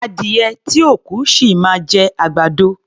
Adìyẹ tí ò kú, ṣì máa jẹ àgbàdo.